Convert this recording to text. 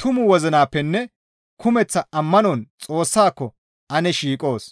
tumu wozinappenne kumeththa ammanon Xoossaako ane shiiqoos.